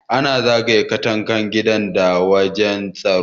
Ana zagaye katangan gida da wayan tsaro.